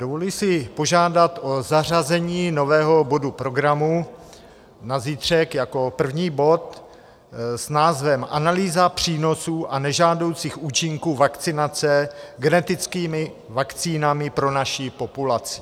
Dovoluji si požádat o zařazení nového bodu programu na zítřek jako první bod s názvem Analýza přínosů a nežádoucích účinků vakcinace genetickými vakcínami pro naši populaci.